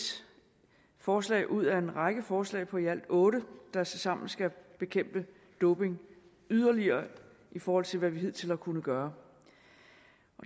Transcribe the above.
forslag ud af en række forslag på i alt otte der tilsammen skal bekæmpe doping yderligere i forhold til hvad vi hidtil har kunnet gøre